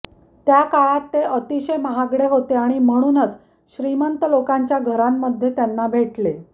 त्या काळात ते अतिशय महागडे होते आणि म्हणूनच श्रीमंत लोकांच्या घरांमध्ये त्यांना भेटले